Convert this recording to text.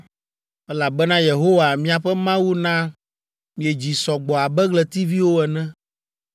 elabena Yehowa miaƒe Mawu na miedzi sɔ gbɔ abe ɣletiviwo ene!